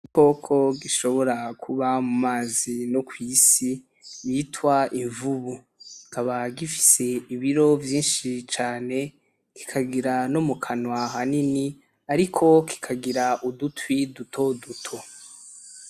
Igikoko gishobora kuba mu mazi no kw’isi citwa imvubu . Kikaba gifise ibiro vyinshi cane kikagira no mu kanwa hanini ariko kikagira udutwi dutoduto.